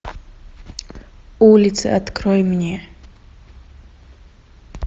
улицы открой мне